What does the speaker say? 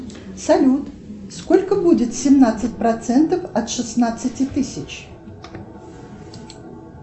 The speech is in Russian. салют сколько будет семнадцать процентов от шестнадцати тысяч